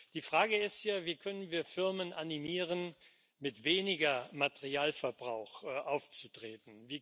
Die Frage ist ja Wie können wir Firmen animieren, mit weniger Materialverbrauch aufzutreten?